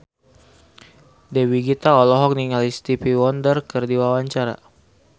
Dewi Gita olohok ningali Stevie Wonder keur diwawancara